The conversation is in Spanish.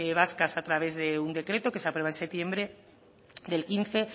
vascas a través de un decreto que se aprueba en septiembre del quince